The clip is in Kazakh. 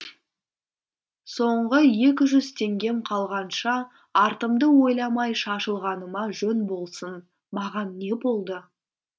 соңғы екі жүз теңгем қалғанша артымды ойламай шашылғаныма жөн болсын маған не болды